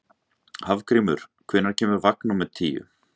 Hafgrímur, hvenær kemur vagn númer tíu?